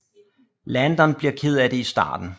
Landon bliver ked af det i starten